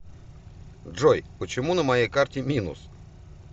джой почему на моей карте минус